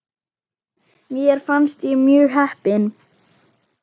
Mér fannst ég mjög heppin.